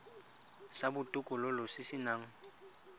sa botokololo se se nang